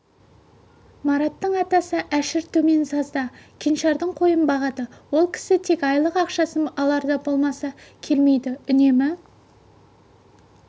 мараттың атасы әшір төменсазда кеңшардың қойын бағады ол кісі тек айлық ақшасын аларда болмаса келмейді үнемі